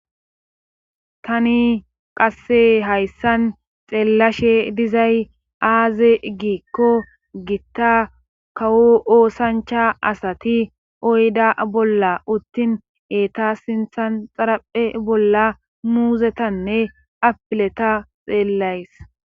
Tani qasse hayssan xeellashe dizay aaze giikko gitta kawo oosancha asati oyda bolla uttin eeta sinthan xaraphe bolla muuzetanne apileta xeellays.